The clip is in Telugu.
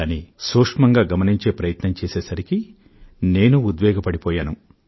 కానీ సూక్ష్మం గా గమనించే ప్రయత్నం చేసేసరికీ నేను ఎంతో ఉద్వేగానికి లోనయ్యను